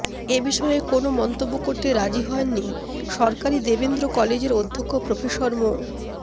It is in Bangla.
এ বিষয়ে কোনো মন্তব্য করতে রাজি হয়ননি সরকারী দেবেন্দ্র কলেজের অধ্যক্ষ প্রফেসর মো